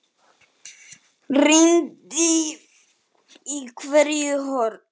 Rýndi í hvert horn.